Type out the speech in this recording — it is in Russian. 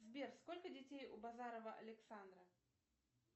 сбер сколько детей у базарова александра